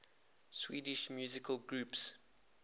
swedish musical groups